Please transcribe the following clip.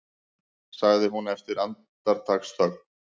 sagði hún eftir andartaksþögn.